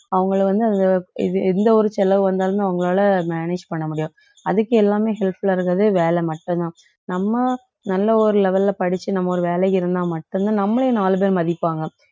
அவங்களை வந்து அந்த இது எந்த ஒரு செலவு வந்தாலுமே அவங்களால manage பண்ண முடியும் அதுக்கு எல்லாமே helpful ஆ இருக்கிறது வேலை மட்டும்தான் நம்ம நல்ல ஒரு level ல படிச்சு நம்ம ஒரு வேலைக்கு இருந்தா மட்டும்தான் நம்மளையும் நாலு பேரு மதிப்பாங்க